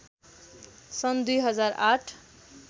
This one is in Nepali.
सन् २००८